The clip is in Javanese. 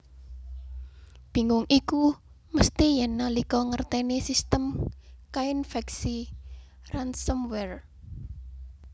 Bingung iku mesti yèn nalika ngertèni sistem kainfèksi ransomware